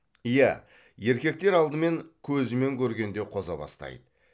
иә еркектер алдымен көзімен көргенде қоза бастайды